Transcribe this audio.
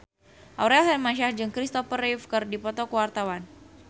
Aurel Hermansyah jeung Kristopher Reeve keur dipoto ku wartawan